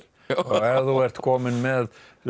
ef þú ert kominn með